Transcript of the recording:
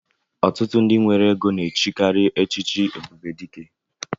Ọtụtụ ndị nwere égo na-echikari echichi Ebubedike